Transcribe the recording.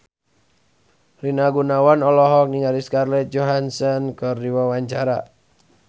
Rina Gunawan olohok ningali Scarlett Johansson keur diwawancara